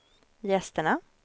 gästerna